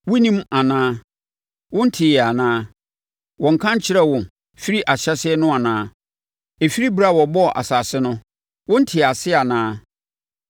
Wonnim anaa? Wonteeɛ anaa? Wɔnnka nkyerɛɛ wo firi ahyɛaseɛ no anaa? Ɛfiri ɛberɛ a wɔbɔɔ asase no, wontee aseɛ anaa?